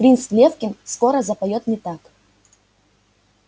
принц лефкин скоро запоёт не так